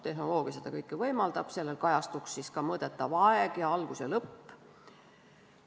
Tehnoloogia seda kõike võimaldab, seal kajastuks ka mõõdetav aeg ning algus ja lõpp.